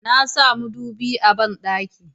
na sa madubi a banɗaki